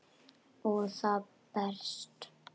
Og það berst.